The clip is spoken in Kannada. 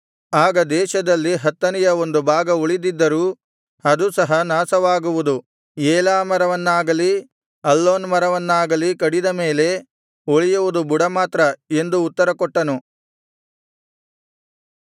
ಆಗ ದೇಶದಲ್ಲಿ ಹತ್ತನೆಯ ಒಂದು ಭಾಗ ಉಳಿದಿದ್ದರೂ ಅದೂ ಸಹ ನಾಶವಾಗುವುದು ಏಲಾ ಮರವನ್ನಾಗಲೀ ಅಲ್ಲೋನ್ ಮರವನ್ನಾಗಲೀ ಕಡಿದ ಮೇಲೆ ಉಳಿಯುವುದು ಬುಡ ಮಾತ್ರ ಎಂದು ಉತ್ತರಕೊಟ್ಟನು